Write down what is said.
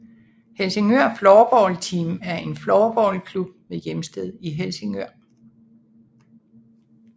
Helsingør Floorball Team er en floorballklub med hjemsted i Helsingør